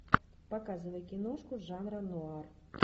показывай киношку жанра нуар